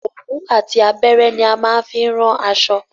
Òwú àti abẹ́rẹ́ ní a máa ń fi ran aṣọ.